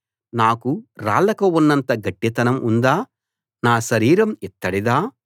నాకు రాళ్లకు ఉన్నంత గట్టితనం ఉందా నా శరీరం ఇత్తడిదా